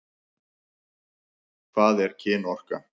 Hvað er kynorka?